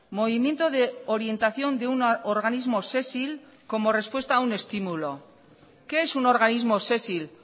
movimiento de orientación de un organismo sésil como respuesta a un estímulo qué es un organismo sésil